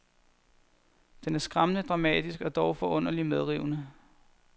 Den er skræmmende dramatisk og dog forunderligt medrivende.